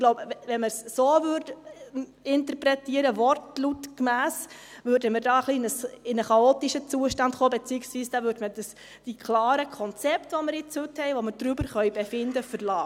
Ich glaube, wenn wir es so interpretieren würden, wortlautgemäss, kämen wir hier in einen etwas chaotischen Zustand, beziehungsweise da würde man die klaren Konzepte, die wir heute haben, über die wir befinden können, verlassen.